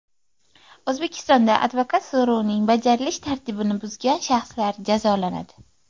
O‘zbekistonda advokat so‘rovining bajarilish tartibini buzgan shaxslar jazolanadi.